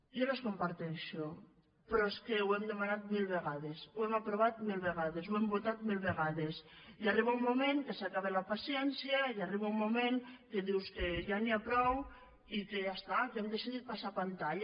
jo les comparteixo però és que ho hem demanat mil vega·des ho hem aprovat mil vegades ho hem votat mil ve·gades i arriba un moment que s’acaba la paciència i arriba un moment que dius que ja n’hi ha prou i que ja està que hem decidit passar pantalla